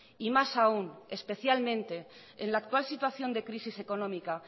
y más aún especialmente en la actual situación de crisis económica